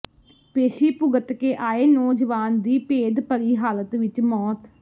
ਪੇਸ਼ੀ ਭੁਗਤ ਕੇ ਆਏ ਨੌਜਵਾਨ ਦੀ ਭੇਦ ਭਰੀ ਹਾਲਤ ਵਿਚ ਮੌਤ